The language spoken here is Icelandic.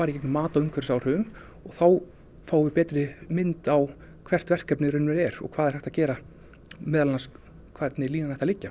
í gegnum mat á umhverfisáhrifum og þá fáum við betri mynd á hvert verkefnið í raun og er og hvað er hægt að gera meðal annars hvernig línan ætti að liggja